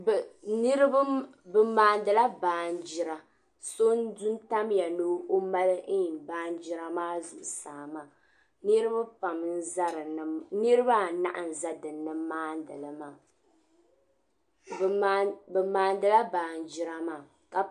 Niriba bɛ maanila baanjira, sɔ n di n tamya ni ɔcmali naan nira maa zuɣu saa maa. niribi pam n ʒɛ dini niribi anahi n maa nili maa, bɛ maa ni la naan nira maa.